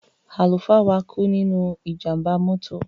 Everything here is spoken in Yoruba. Àlùfáà wa kú nínú ìjàmbá mọ́tò.